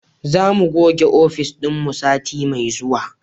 Za mu goge ofis dinmu sati mai zuwa